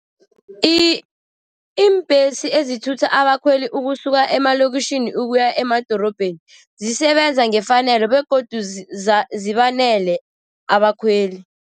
Iimbhesi ezithutha abakhweli ukusuka emalokitjhini ukuya emadorobheni, zisebenza ngefanelo begodu zibanele abakhweli.